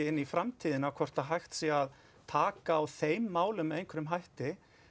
inn í framtíðina hvort hægt sé að taka á þeim málum með einhverjum hætti